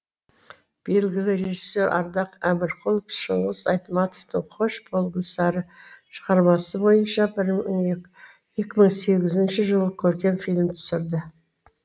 белгілі режиссер ардақ әмірқұлов шыңғыс айтматовтың қош бол гүлсары шығармасы бойынша екі мың сегізінші жылы көркем фильм түсірді